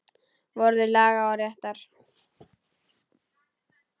Vörður laga og réttar.